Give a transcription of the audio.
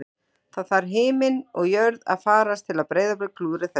Það þarf himinn og jörð að farast til að Breiðablik klúðri þessu